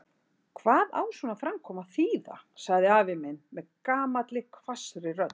Hvað á svona framkoma að þýða? sagði afi minn með gamalli hvassri rödd.